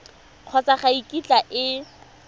kgotsa ga e kitla e